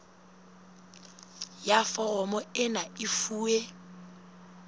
ya foromo ena e fuwe